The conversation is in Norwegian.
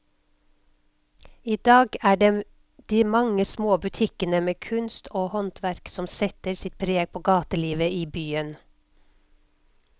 I dag er det de mange små butikkene med kunst og håndverk som setter sitt preg på gatelivet i byen.